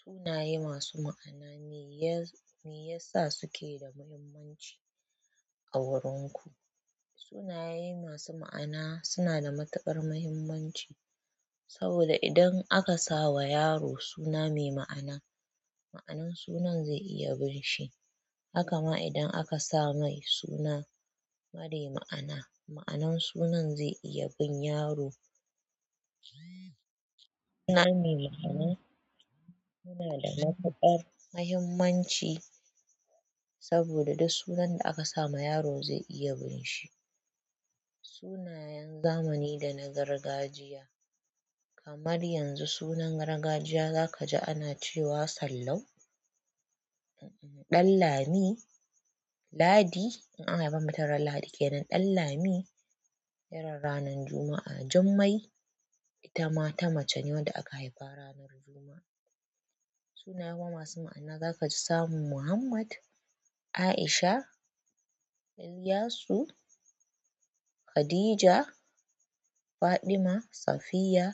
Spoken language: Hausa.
Sunaye masu ma'ana me yasa suke da muhimmanci a wurin ku? Sunaye masu ma'ana suna da matuƙar muhimmanci saboda idan aka sa wa yaro suna mai ma'ana, ma'anar sunan zai iya bin shi. Haka ma idan aka sa mai suna marai ma'ana, ma'anan sunan zai iya bin yaro. Suna mai ma'ana yanada matuƙar mahimmanci saboda duk sunan da aka sama yaro zai iya binshi sunayen zamani da na gargajiya, kamar yanzu sunan gargajiya zaka ji ana cewa Sallau, Ɗanlami, Ladi in an haifi mutum ran Ladi kenan, Ɗanlami, irin ranan Juma'a, Jummai, ita ma ta mace ne wadda aka haifa ranan Juma'a. Sunaye kuma masu ma'ana za ka ji samun Muhammad, A'isha, Iliyasu, Khadija, Faɗima, Safiyya